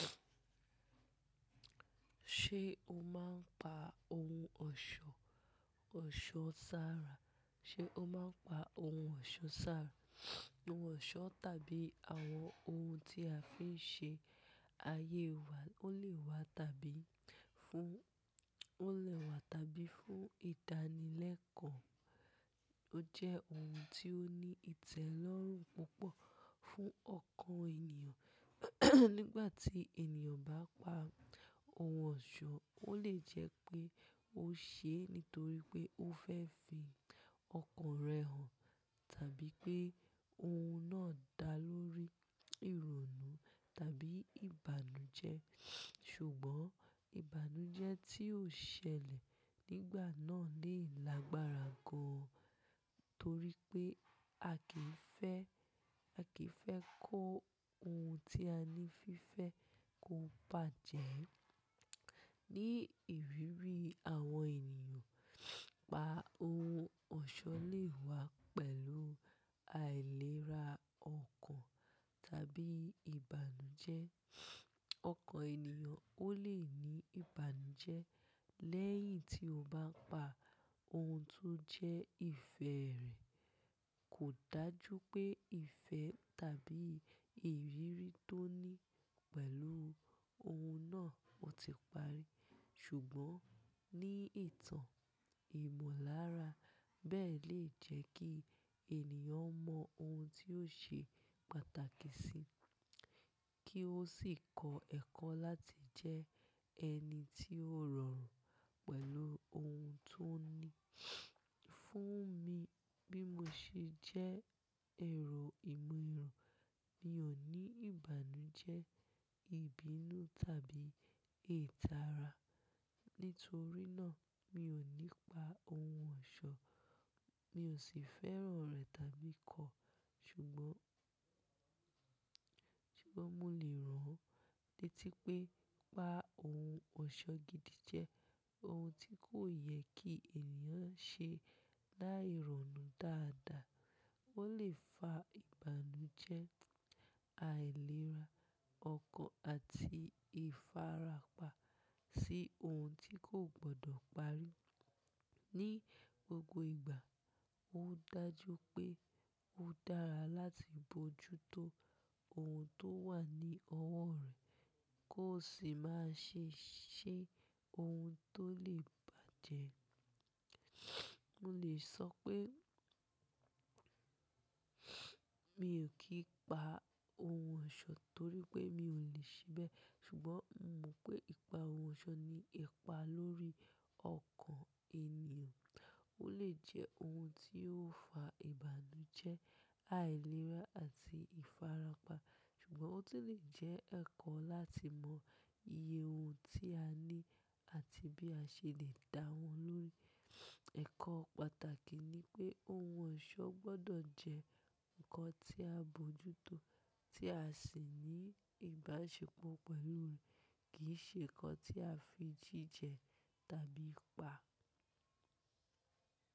Ṣé o máa ń pa ohun ọ̀ṣọ́, ọ̀ṣọ́ sára? Ṣé o máa ń pa ohun ọ̀ṣọ́ sára? Ohun ọ̀ṣọ́ tàbí àwọn ohun tí a fi ń ṣe ayé wa ó lè wà tàbí fún, ó lè wà tàbí fún ìdánilẹ́kọ̀ọ́. Ó jẹ́ ohun tí ó ní ìtẹ́lọ́rùn púpọ̀ fún ọkàn ènìyàn. Nígbà tí ènìyàn bá pa ohun ọ̀ṣọ́, ó lè jẹ́ pé ó ṣé nítorí pé ó fẹ́ fi ọkàn rẹ̀ hàn, tàbí pé ohun náà dá lórí ìrònú tàbí ìbànújẹ́. Ṣùgbọ́n ìbànújẹ́ tí ó ṣẹlẹ̀ nígbà náà lè lágbára gan, torí pé a kì í fẹ́, a kì í fẹ́ kó ohun tí a ní fífẹ́ kó bàjẹ́. Ni ìrírí àwọn ènìyàn, pa ohun ọ̀ṣọ́ lè wá pẹ̀lú àìlera ọkàn tàbí ìbànújẹ́. Ọkàn ènìyàn ó lè ní ìbànújẹ́ lẹ́yìn tí ó bá pa ohun tó jẹ́ ìfẹ́ rẹ̀. Kò dájú pé ìfẹ́ tàbí ìrírí tó ní pẹ̀lú ohun náà ó ti parí. Ṣùgbọ́n ní ìtàn ìmọ̀lára bẹ́ẹ̀ lè jẹ́ kí ènìyàn mọ ohun tí yóò ṣe pàtàkì sí, kí ó sì kọ ẹ́kọ́ láti jẹ ẹni tí ó rọrùn pẹ̀lú ohun tó ní. Fún mi, bí mo ṣe jẹ́ èrò ìmọ̀ ìràn, mi ò ní ìbànújẹ́, ìbínú tàbí ìtara. Nítorí náà, mi ò ní pa ohun ọ̀ṣọ́, mi ò sì fẹ́ràn rẹ̀ tàbí kọ̀. Ṣùgbọ́n, ṣùgbọ́n mo lè rántí pé pa ohun ọ̀ṣọ́ gidi jẹ́ ohun tí kò yẹ kí ènìyàn ṣe láìrònú dáadáa. Ó lè fa ìbànújẹ́, àìlera ọkàn àti ìfarapa sí ohun tí kò gbọdọ̀ parí. Ni gbogbo ìgbà, ó dájú pé ó dára láti bójútó ohun tó wà ní ọwọ́ rẹ̀ kó sì má ṣe ṣe ohun tó lè bàjẹ́. Mo lè sọ pé mi ò kì í pa ohun ọ̀ṣọ́ torí pé mi ò lè ṣibẹ̀. Ṣùgbọ́n mo mọ̀ pé ipa ohun ọ̀ṣọ́ ní ipa lórí ọkàn ènìyàn. Ó lè jẹ́ ohun tí yóò fa ìbànújẹ́, àìlera àti ìfarapa. Ṣùgbọ́n ó sì lè jẹ́ ẹ̀kọ́ láti mọ iye ohun tí a ní àti bí a ṣe lè da wọ́n lórí. Ẹ̀kọ́ pàtàkì ni pé ohun ọ̀ṣọ́ gbọdọ̀ jẹ́ nǹkan tí a bójútó tí a sì ní ìbáṣepọ̀ pẹ̀lú rẹ̀ kì í ṣe nǹkan tí a fi jí jẹ tàbí pa.